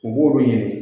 U b'olu ɲini